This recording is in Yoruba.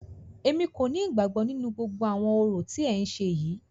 Èmi kò ní ìgbàgbọ nínú gbogbo àwọn orò tí ẹ ń ṣe yìí.